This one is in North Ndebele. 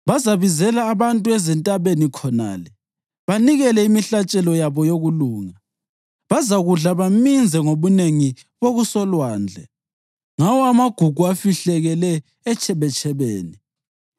Bazabizela abantu ezintabeni khonale banikele imihlatshelo yabo yokulunga; bazakudla baminze ngobunengi bokusolwandle ngawo amagugu afihlakele etshebetshebeni.”